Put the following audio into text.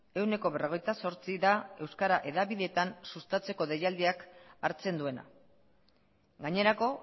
ehuneko berrogeita zortzi da euskara hedabideetan sustatzeko deialdiak hartzen duena gainerako